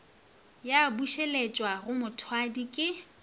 ya bušeletšwa go mothwadi ke